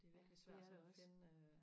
det er virkelig svært og finde øh